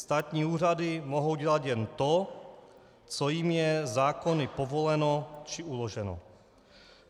Státní úřady mohou dělat jen to, co jim je zákony povoleno či uloženo.